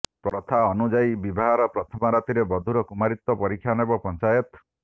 ପ୍ରଥା ଅନୁଯାୟୀ ବିବାହର ପ୍ରଥମ ରାତିରେ ବଧୂର କୁମାରୀତ୍ୱ ପରୀକ୍ଷା ନେବ ପଞ୍ଚାୟତ